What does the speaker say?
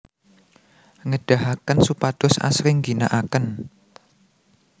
ngedahaken supados asring ngginaaken